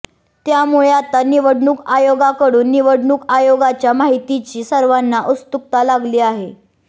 त्यामुळे आता निवडणूक आयोगाकडून निवडणूक आयोगाच्या माहितीची सर्वांना उत्सुकता लागली आहे